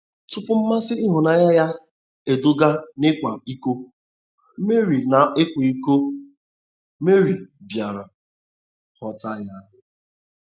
Tụpụ mmasị ịhụnanya ya eduga n'ịkwa iko, Meri n'ịkwa iko, Meri bịara ghọta ya.